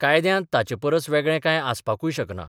कायद्यांत ताचे परस वेगळें कांय आसपाकूय शकना.